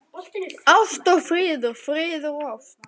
Ást og friður, friður og ást.